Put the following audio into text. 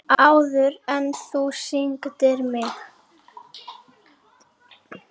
Áður en þú signdir mig.